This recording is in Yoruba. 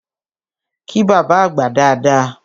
Kí bábá àgbà dada!